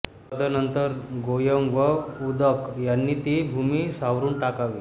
तदनंतर गोमय व उदक यांनीं ती भूमी सारवून टाकावी